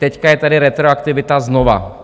Teď je tady retroaktivita znovu.